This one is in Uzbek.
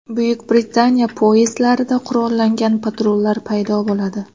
Buyuk Britaniya poyezdlarida qurollangan patrullar paydo bo‘ladi.